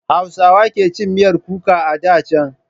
Hausawa ke cin miyar kuka a da can.